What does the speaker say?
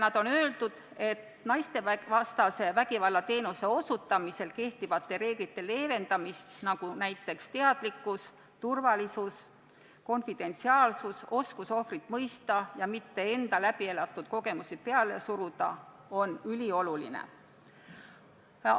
Nad on öelnud, et naistevastase vägivalla teenuse osutamisel praegu kehtivad reeglid – näiteks teadlikkus, turvalisus, konfidentsiaalsus, oskus ohvrit mõista ja enda läbielatud kogemusi mitte peale suruda – on üliolulised ja neid leevendada ei tohiks.